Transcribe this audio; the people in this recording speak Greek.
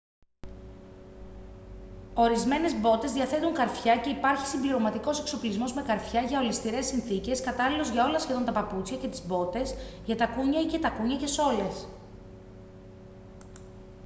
ορισμένες μπότες διαθέτουν καρφιά και υπάρχει συμπληρωματικός εξοπλισμός με καρφιά για ολισθηρές συνθήκες κατάλληλος για όλα σχεδόν τα παπούτσια και τις μπότες για τακούνια ή και τακούνια και σόλες